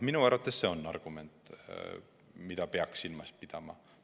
Minu arvates on see argument, mida peaks silmas pidama.